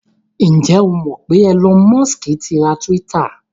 Ǹ jẹ́ o mọ̀ pé Elon Musk ti ra Twitter?